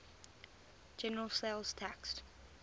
general sales tax